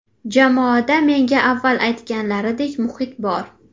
Jamoada menga avval aytganlaridek muhit bor.